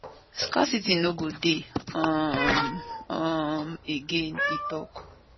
scarcity no go dey um um again e tok